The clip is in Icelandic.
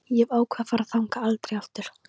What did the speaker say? Ég hef ákveðið að fara þangað aldrei aftur.